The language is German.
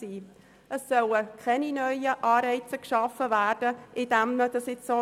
Es sollen keine neuen Anreize geschaffen werden, indem man dies so einbindet.